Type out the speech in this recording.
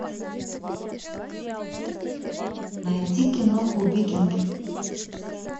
найди киноху викинги